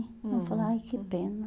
Aí eu falei, ai que pena.